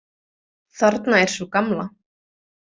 Þarna er sú gamla!